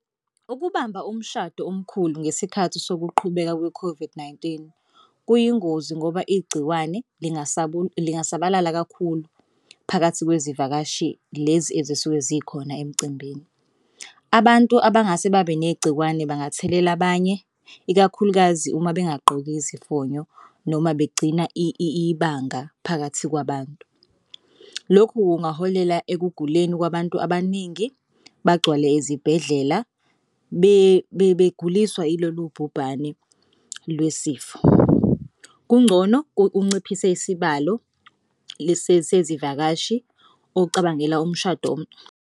Ukubamba umshado omkhulu ngesikhathi sokuqhubeka kwe-COVID-19 kuyingozi ngoba igciwane lingasabalala kakhulu phakathi kwezivakashi lezi ezisuke zikhona emcimbini. Abantu abangase babe negciwane bangathelela abanye ikakhulukazi uma bengagqoki izifonyo noma begcina ibanga phakathi kwabantu. Lokhu kungaholela ekuguleni kwabantu abaningi bagcwale ezibhedlela beguliswa ilolu bhubhane lwesifo. Kungcono unciphise isibalo sezivakashi, ucabangela umshado.